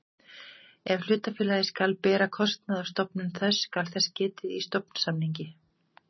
Ef hlutafélagið skal bera kostnað af stofnun þess skal þess getið í stofnsamningi.